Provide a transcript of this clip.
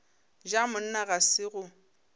ja monna ga se go